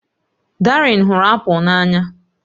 Darien hụrụ apụl n'anya